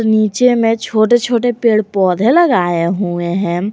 नीचे में छोटे छोटे पेड़ पौधे लगाए हुए है।